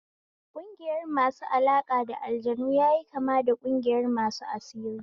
Ƙungiyar masu alaƙa da aljanu yayi kama da ƙungiyar masu asiri